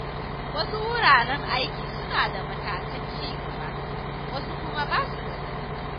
Wasu wuraren aiki suna da matakan ci gaba, wasu kuma basu da su.